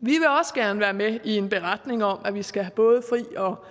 vi vil også gerne være med i en beretning om at vi skal have både fri og